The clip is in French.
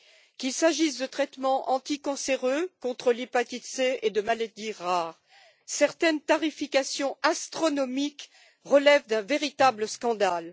Qu'il s'agisse de traitements anticancéreux contre l'hépatite C ou contre des maladies rares, certaines tarifications astronomiques relèvent d'un véritable scandale.